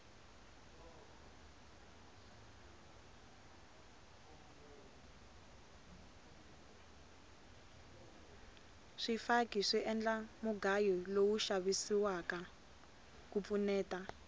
swifaki swi endla mugayo lowu xavisiwaka ku pfuneta